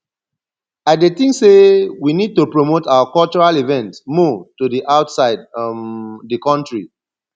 i dey think say we need to promote our cultural events more to di outside um di country